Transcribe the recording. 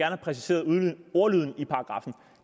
have præciseret ordlyden i paragraffen